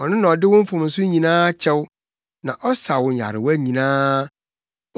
ɔno na ɔde wo mfomso nyinaa kyɛ wo na ɔsa wo nyarewa nyinaa,